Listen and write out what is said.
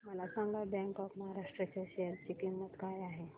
मला सांगा bank of Maharashtra च्या शेअर ची किंमत काय आहे